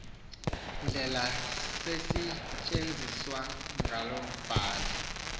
ndlela seyisetyenziswa nangababhali